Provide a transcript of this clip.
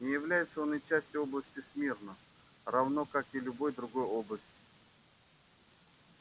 не является он и частью области смирно равно как и любой другой области